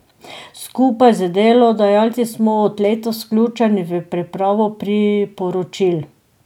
Skupaj z delodajalci smo od letos vključeni v pripravo priporočil.